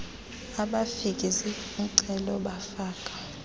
abafaki zicelo bafaka